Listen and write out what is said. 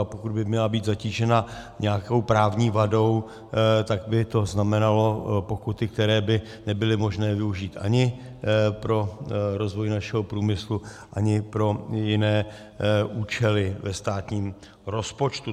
A pokud by měla být zatížena nějakou právní vadou, tak by to znamenalo pokuty, které by nebyly možné využít ani pro rozvoj našeho průmyslu, ani pro jiné účely ve státním rozpočtu.